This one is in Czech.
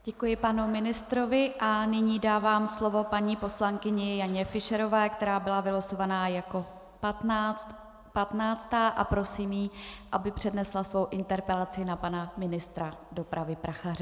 Děkuji panu ministrovi a nyní dávám slovo paní poslankyni Janě Fischerové, která byla vylosována jako patnáctá, a prosím ji, aby přednesla svou interpelaci na pana ministra dopravy Prachaře.